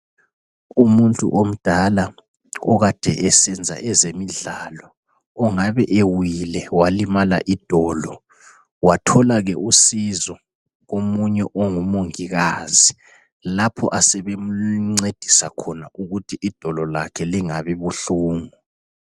Umuntu omdala okade esenza ezemidlalo ongabe ewile walimala idolo wathola ke usizo komunye ongumongikazi lapho asebemncedisa khona ukuthi idolo lakhe lingabi buhlungu.